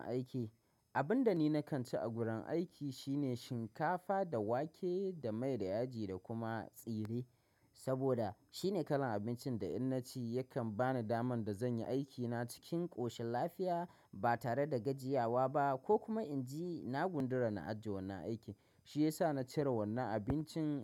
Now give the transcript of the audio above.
Abin da ni nakan ci a gurin aiki shine shinkafa da wake da mai da yaji da kuma tsire, saboda shine kalan abincin da in naci yakan bani daman da zanyi aikina cikin ƙoshin lafiya ba tare da gajiyawa ba ko kuma inji na gundura na ajiye wannan aiki shiyasa na cire wannan abincin.